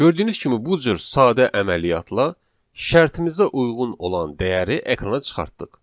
Gördüyünüz kimi bu cür sadə əməliyyatla şərtimizə uyğun olan dəyəri ekrana çıxartdıq.